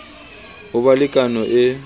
ho ba le kano e